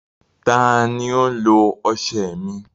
Tani o lo ọṣẹ mi?